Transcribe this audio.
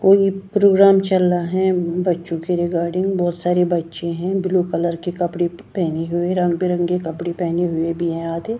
कोई प्रोग्राम चल रहा है बच्चों के रिगारडींग बहुत सारे बच्चे है ब्लू कलर के कपड़े पेहने हुए रंगबेरंगी कपड़े पेहने हुए भी है आधे--